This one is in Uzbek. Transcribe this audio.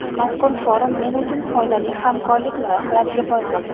Mazkur forum men uchun foydali hamkorlik loyihalariga boy bo‘ldi.